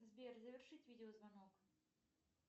сбер завершить видеозвонок